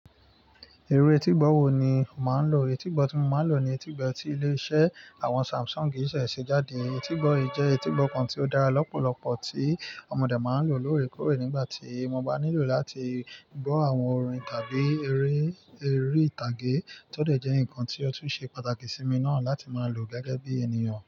Irú etígbọ́ wo ni o máa ń lò? Etígbọ́ tí mo máa ń lò ni etígbọ́ tí ilé-iṣẹ́ àwọn Samsung ṣẹ̀ ṣe jáde. Etígbọ́ yìí jẹ́ etígbọ́ kan tí ó dára lọ́pọ̀lọpọ̀ tí mọ dé máa ń lò lóòrèkóòrè nígbà tí mo bá nílò láti gbọ́ àwọn orin tàbí eré, eré ìtàgé to dẹ̀ jẹ́ nǹkan tí ó tún ṣe pàtàkì sí mi náà láti máa lò gẹ́gẹ́ bí ènìyàn.